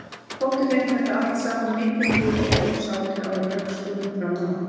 Þótti þeim þetta allt saman mikil tíðindi og sátu á rökstólum fram á nótt.